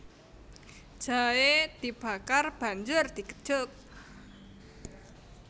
Jahe dibakar banjur digejuk